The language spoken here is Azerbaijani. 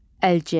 Əlcək.